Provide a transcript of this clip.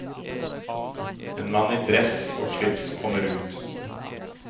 En mann i dress og slips kommer ut.